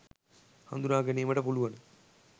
හඳුනා ගැනීමට පුලුවන